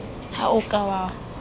ha o a ka wa